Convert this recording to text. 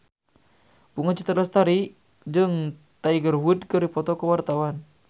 Bunga Citra Lestari jeung Tiger Wood keur dipoto ku wartawan